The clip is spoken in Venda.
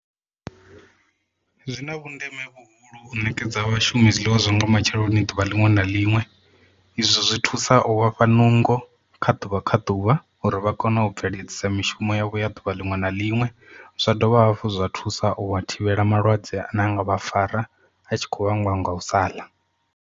Zwina vhundeme vhuhulu u ṋekedza vhashumi zwiḽiwa zwa nga matsheloni ḓuvha liṅwe na liṅwe izwo zwi thusa u vhafha nungo kha ḓuvha kha ḓuvha uri vha kone u bveledzisa mishumo yavho ya ḓuvha liṅwe na liṅwe zwa dovha hafhu zwa thusa u thivhela malwadze ane a nga vha fara a tshi khou vhangiwa nga u saḽa.